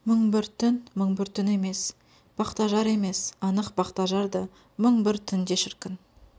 мың бір түн мың бір түн емес бақтажар емес анық бақтажар да мың бір түн де шіркін